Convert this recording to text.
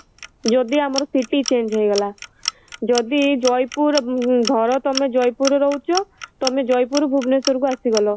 ଯଦି ଆମର city change ହେଇ ଗଲା ଯଦି ଜୟପୁର ଧର ତମେ ଜୟପୁର ରେ ରହୁଛ ତମେ ଜୟପୁର ଭୁବନେଶ୍ୱର କୁ ଆସି ଗଲ